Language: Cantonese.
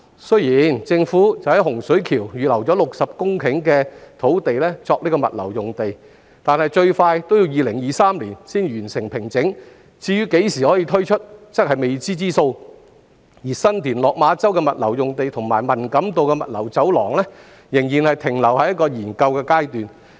雖然政府在洪水橋預留了60公頃土地作物流用地，但最快要2023年才可完成平整，何時可以推出仍是未知之數，而新田/落馬洲的物流用地和文錦渡物流走廊仍然停留在研究階段。